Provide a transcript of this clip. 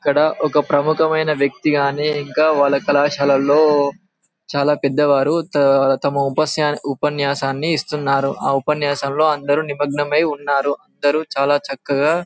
ఇక్కడ ఒక ప్రముఖ మైన వ్యక్తి గాని ఇంకా వల్లా వారి కళాశాలలో చాలా పెద్ద వారు త తమ ఉపన్యా ఉపన్యాసాన్నీ ఇస్తున్నారు ఆ ఉపన్యాసంలో అందరూ నిమగ్నం అయ్యి ఉన్నారు అందరూ చాలా చక్కగా --